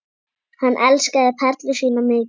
Hann elskaði Perlu sína mikið.